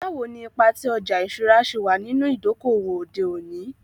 Bawo ni ipa ti ọja iṣura ṣe wa ninu idoko-owo ode oni?